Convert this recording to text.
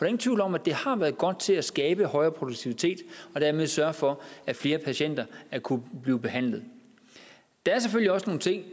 ingen tvivl om at det har været godt til at skabe højere produktivitet og dermed sørge for at flere patienter kunne blive behandlet der er selvfølgelig også nogle ting